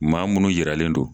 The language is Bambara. Maa minnu jiralen don